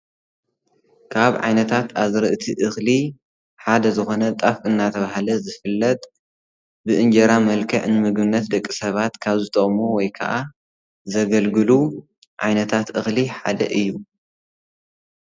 ካብ ዓይነታት ኣዝርእቲ እኽሊ ሓደ ዝኾነ ጣፍ እንናተባሃለ ዝፋለጥ ብእንጀራ መልክዕ ንምግብነት ደቂ ሰባት ካብ ዝጠቅሙ ወይ ከዓ ዘገልግሉ ዓይነታት እኽሊ ሓደ እዪ ።